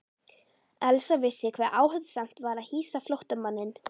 Elsa vissi hve áhættusamt var að hýsa flóttamanninn.